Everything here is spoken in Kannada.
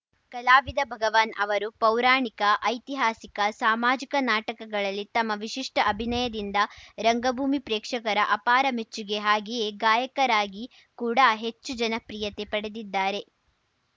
ಕಲಾವಿದ ಭಗವಾನ್‌ ಅವರು ಪೌರಾಣಿಕ ಐತಿಹಾಸಿಕ ಸಾಮಾಜಿಕ ನಾಟಕಗಳಲ್ಲಿ ತಮ್ಮ ವಿಶಿಷ್ಟಅಭಿನಯದಿಂದ ರಂಗಭೂಮಿ ಪ್ರೇಕ್ಷಕರ ಅಪಾರ ಮೆಚ್ಚುಗೆ ಹಾಗೆಯೇ ಗಾಯಕರಾಗಿ ಕೂಡಾ ಹೆಚ್ಚು ಜನಪ್ರಿಯತೆ ಪಡೆದಿದ್ದಾರೆ